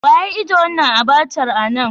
Wa ya ijie wanan abacha a'nan?